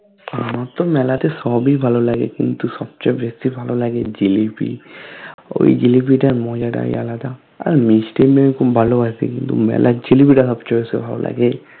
আমারতো মেলাতে সবেই ভালো লাগে কিন্তু সবচে বেশি ভালো লাগে জিলাপি ওই জিলাপি তার মজাটাই আলাদা আর মিষ্টি এমনি আমি খুব ভালো বাসি কিন্তু মেলার জিলাপিতা সবচে বেশি ভালো লাগে